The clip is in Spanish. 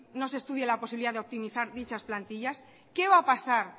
no se estudia la posibilidad de optimizar dichas plantillas qué va a pasar